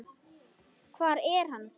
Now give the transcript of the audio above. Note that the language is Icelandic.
Hvar er hann þá?